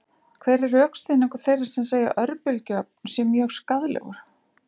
Hver er rökstuðningur þeirra sem segja að örbylgjuofn sé mjög skaðlegur?